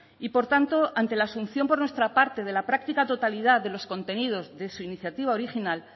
y por tanto ante la asunción por nuestra parte de la práctica totalidad de los contenidos de su iniciativa original